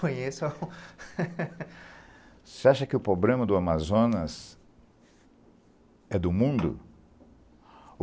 Conheço... Você acha que o problema do Amazonas é do mundo?